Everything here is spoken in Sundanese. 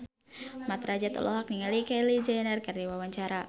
Mat Drajat olohok ningali Kylie Jenner keur diwawancara